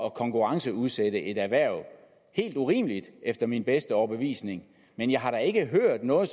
at konkurrenceudsatte et erhverv helt urimeligt efter min bedste overbevisning men jeg har da ikke hørt noget